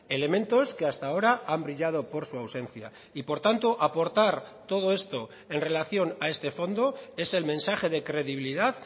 elementos que hasta ahora han brillado por su ausencia y por tanto aportar todo esto en relación a este fondo es el mensaje de credibilidad